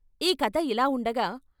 ఈ కథ ఇలా ఉండగా, '